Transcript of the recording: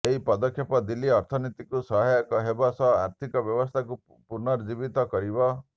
ଏହି ପଦକ୍ଷେପ ଦିଲ୍ଲୀ ଅର୍ଥନୀତିକୁ ସହାୟକ ହେବ ସହ ଆର୍ଥିକ ବ୍ୟବସ୍ଥାକୁ ପୁନର୍ଜୀବିତ କରିବ